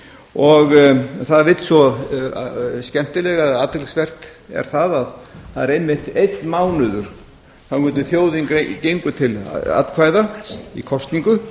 og það vill svo skemmtilega til eða athyglisvert er að það er einmitt einn mánuður þangað til þjóðin gengur til atkvæða í kosningu